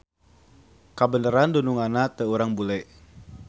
Kebeneran dununganna teh urang bule.